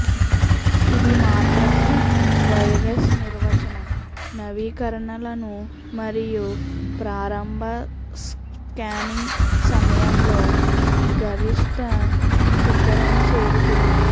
ఇది మాత్రమే వైరస్ నిర్వచనం నవీకరణలను మరియు ప్రారంభ స్కానింగ్ సమయంలో గరిష్ట శిఖరం చేరుతుంది